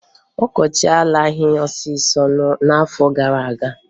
Ọkọchị alaghị ọsọọsọ n'afọ gara aga.